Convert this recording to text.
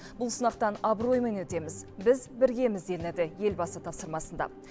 бұл сынақтан абыроймен өтеміз біз біргеміз делінеді елбасы тапсырмасында